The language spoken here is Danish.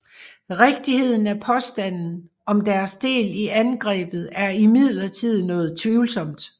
Rigtigheden af påstanden om deres del i angrebet er imidlertid noget tvivlsomt